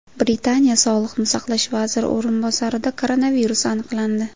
Britaniya sog‘liqni saqlash vaziri o‘rinbosarida koronavirus aniqlandi.